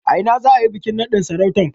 A ina za a yi bikin naɗin sarautar?